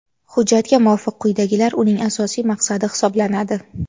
Hujjatga muvofiq quyidagilar uning asosiy maqsadi hisoblanadi:.